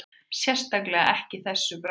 Sérstaklega ekki þessu bragði